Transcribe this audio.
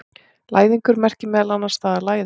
Læðingur merkir meðal annars það að læðast.